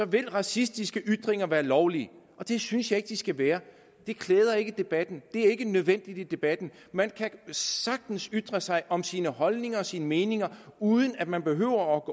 vil racistiske ytringer være lovlige og det synes jeg ikke at de skal være det klæder ikke debatten det er ikke nødvendigt i debatten man kan sagtens ytre sig om sine holdninger og sine meninger uden at man behøver at